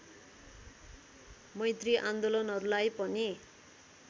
मैत्री आन्दोलनहरूलाई पनि